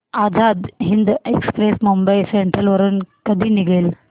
Azad Hind express Mumbai central वरून कधी निघेल